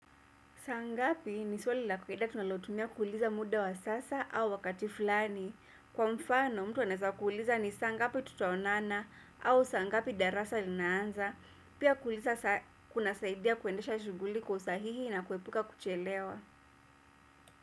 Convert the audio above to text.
Saa ngapi ni swali la kawaida tunalotumia kuuliza muda wa sasa au wakati fulani. Kwa mfano mtu anaweza kuuliza ni saa ngapi tutaonana au saa ngapi darasa linaanza. Pia kuuliza kunasaidia kuendesha shughuli kwa usahihi na kuepuka kuchelewa.